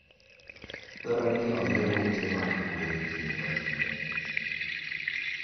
Dwarore ni oywe ute mag gwen kinde ka kinde.